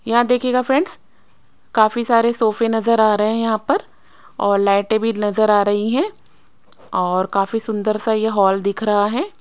यहां देखिएगा फ्रैंडस काफी सारे सोफे नजर आ रहे है यहां पर और लाइटें भी नजर आ रही है और काफी सुंदर सा ये हॉल दिख रहा है।